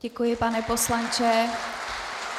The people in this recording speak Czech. Děkuji, pane poslanče.